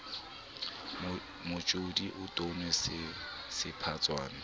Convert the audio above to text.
motjodi o tono se sephatswa